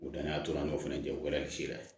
U danaya tora an na o fana tɛ wɛrɛ ye siya